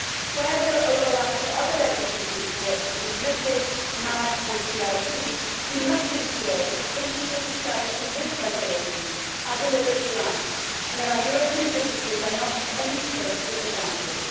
Where there are overlaps on to other legislative reports such as MiFID, MAD and CRD, we must ensure that the principles established in this regulation are delivered throughout and that our European businesses are not at any stage disadvantaged.